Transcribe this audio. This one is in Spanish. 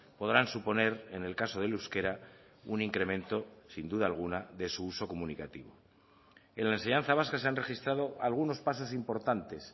podrán suponer en el caso del euskera un incremento sin duda alguna de su uso comunicativo en la enseñanza vasca se han registrado algunos pasos importantes